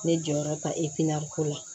Ne jɔyɔrɔ ka ko la